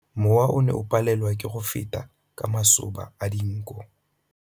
Mowa o ne o palelwa ke go feta ka masoba a dinko.